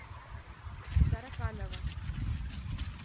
тараканова